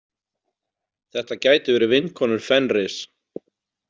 Þetta gætu verið vinkonur Fenris.